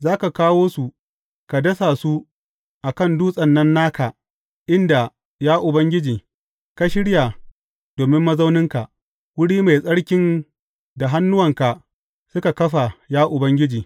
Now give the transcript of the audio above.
Za ka kawo su, ka dasa su a kan dutsen nan naka inda, ya Ubangiji, ka shirya domin mazauninka, wuri mai tsarkin da hannuwanka suka kafa, ya Ubangiji.